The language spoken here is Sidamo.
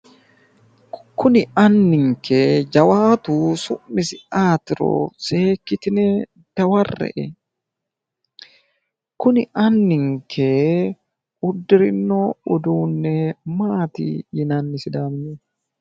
Kuni anninke jawaatu su'misi ayeetiro seekkitine dawarre'e. Kuni anninke uddirino uduunne maati yinanni sidaaminyunni?